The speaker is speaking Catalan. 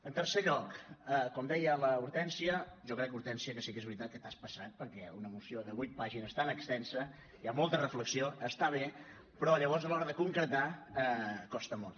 en tercer lloc com deia l’hortènsia jo crec hortènsia que sí que és veritat que t’has passat perquè una moció de vuit pàgines tan extensa hi ha molta reflexió està bé però llavors a l’hora de concretar costa molt